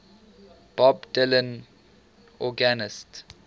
bob dylan organist